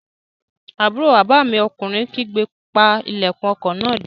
Àbúrò bàbá mi ọkùnrin kígbe, "pa ilẹ̀kùn ọkọ̀ náà dé!"